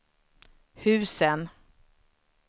husen